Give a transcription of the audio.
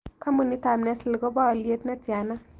Kampunitap nestle kobo alyet netiana